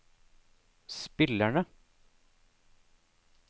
spillerne